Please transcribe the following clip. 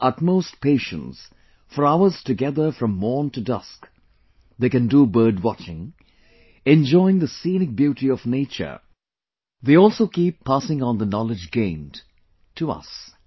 With utmost patience, for hours together from morn to dusk, they can do bird watching, enjoying the scenic beauty of nature; they also keep passing on the knowledge gained to us